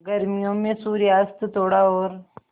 गर्मियों में सूर्यास्त थोड़ा और